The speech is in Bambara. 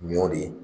Ɲɔ de